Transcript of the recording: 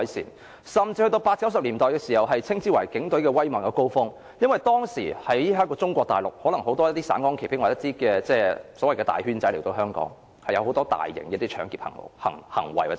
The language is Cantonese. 在1980年代、1990年代更可稱為警隊威猛的高峰期，因為當時中國大陸很多"省港旗兵"或"大圈仔"來港犯案，涉及很多大型搶劫罪行。